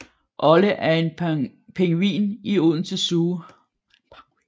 Olde er en pingvin i Odense Zoo